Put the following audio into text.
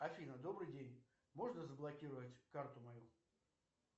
афина добрый день можно заблокировать карту мою